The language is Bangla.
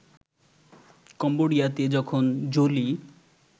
কম্বোডিয়াতে যখন জোলি